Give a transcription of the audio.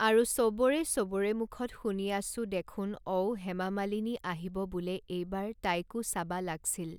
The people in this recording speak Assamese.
আৰু চবৰে চবৰে মুখত শুনি আছোঁ দেখোন অও হেমা মালিনী আহিব বোলে এইবাৰ তাইকো চাবা লাগ্‌ছিল